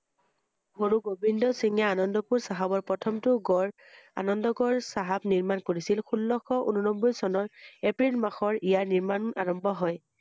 গুৰু গোবিন্দ সিঁং আনন্দপুৰ চাহাবৰ প্ৰথমটো গড় আনন্দ গড় চাহাব নিৰ্মাণ কৰিছিল ষোল্লশ উননব্বৈ চনৰ এপ্ৰিল মাহত ইয়াৰ নিৰ্মাণ আৰম্ভ হয় ৷